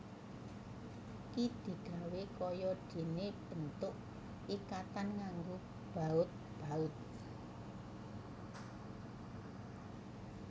Iki digawé kaya dene bentuk ikatan nganggo baut baut